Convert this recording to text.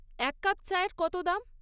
এক কাপ চাএর কত দাম?